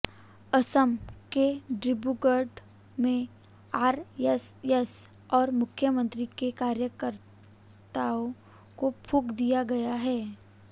असम के डिब्रूगढ़ में आरएसएस और मुख्यमंत्री के कार्यालयों को फूंक दिया गया है